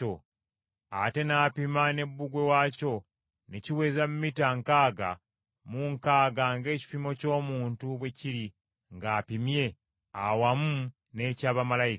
Ate n’apima ne bbugwe waakyo ne kiweza mita nkaaga mu mukaaga ng’ekipimo ky’omuntu bwe kiri ng’apimye, awamu n’eky’abamalayika.